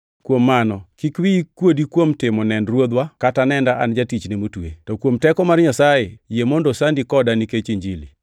Kuom mano kik wiyi kuodi kuom timo nend Ruodhwa kata nenda an Jatichne motwe. To kuom teko mar Nyasaye yie mondo osandi koda nikech Injili,